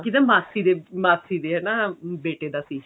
ਕਿਹਦਾ ਮਾਸੀ ਦੇ ਮਾਸੀ ਦੇ ਹਨਾ ਬੇਟੇ ਦਾ ਸੀ